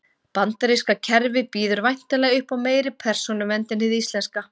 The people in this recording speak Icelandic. Bandaríska kerfið býður væntanlega upp á meiri persónuvernd en hið íslenska.